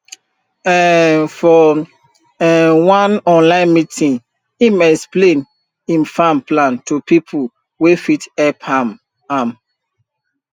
um for um one online meeting him explain him farm plan to people wey fit help am am